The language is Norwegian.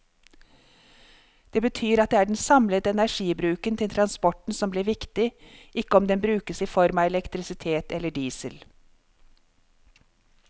Det betyr at det er den samlede energibruken til transporten som blir viktig, ikke om den brukes i form av elektrisitet eller diesel.